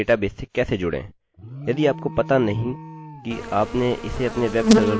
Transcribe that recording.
सर्वप्रथम मैं आपको बताऊंगा कि डेटाबेस से कैसे जुड़ें